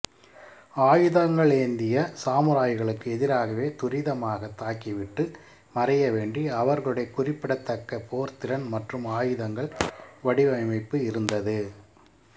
ஆயுதங்களேந்திய சாமுராய்களுக்கு எதிராகவே துரிதமாக தாக்கிவிட்டு மறைய வேண்டி அவர்களுடைய குறிப்பிடத்தக்க போர்த்திறன் மற்றும் ஆயுதங்கள் வடிவைப்பு இருந்தது